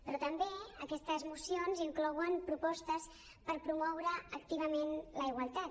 però també aquestes mocions inclouen propostes per promoure activament la igualtat